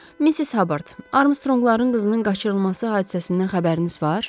Missis Habard, Armstrongların qızının qaçırılması hadisəsindən xəbəriniz var?